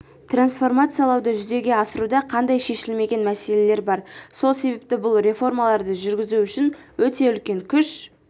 трансформациялауды жүзеге асыруда қандай шешілмеген мәселелер бар сол себепті бұл реформаларды жүргізу үшін өте үлкен күш